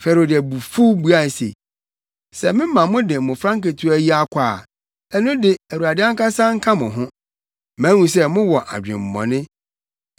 Farao de abufuw buae se, “Sɛ mɛma mode mmofra nketewa yi akɔ a, ɛno de, Awurade ankasa nka mo ho. Mahu sɛ mowɔ adwemmɔne.